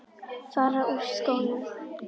Fara úr skónum.